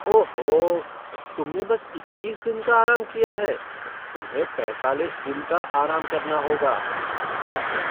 ओहो, तुमने बस इक्कीस दिन का आराम किया है? तुम्हें पैंतालीस दिन का आराम करना होगा। डॉक्टर